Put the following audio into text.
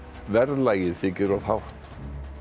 verðlagið þykir of hátt